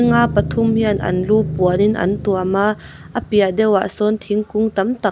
pathum hian an lu puanin an tuam a a piah deuhah sawn thingkung tam tak --